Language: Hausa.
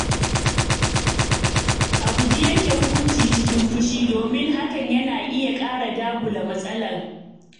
A guji yanke hukunci cikin fushi domin hakan na iya ƙara dagula matsala.